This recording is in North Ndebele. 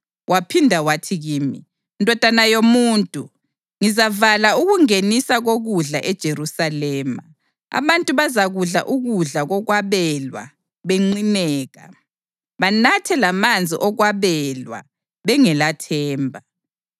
Waphinda wathi kimi, “Ndodana yomuntu, ngizavala ukungeniswa kokudla eJerusalema. Abantu bazakudla ukudla kokwabelwa benqineka, banathe lamanzi okwabelwa bengelathemba,